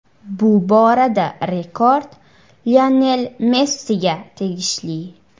Bu borada rekord Lionel Messiga tegishli.